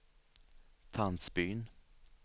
Tandsbyn